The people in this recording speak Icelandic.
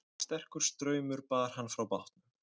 Sterkur straumur bar hann frá bátnum